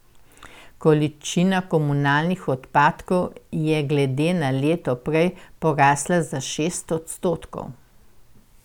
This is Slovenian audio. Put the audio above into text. Količina komunalnih odpadkov je glede na leto prej porasla za šest odstotkov.